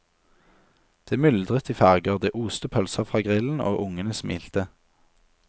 Det myldret i farger, det oste pølser fra grillen og ungene smilte.